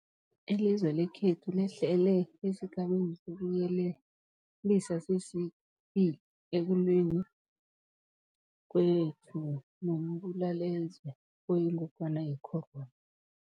Ilizwe lekhethu lehlele esiGabeni sokuYelelisa sesi-2 ekulweni kwethu nombulalazwe oyingogwana ye-corona.